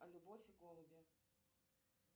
любовь и голуби